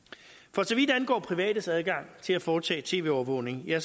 for så vidt angår privates adgang til at foretage tv overvågning er